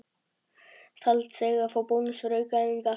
Taldi sig eiga að fá bónus fyrir aukaæfingar.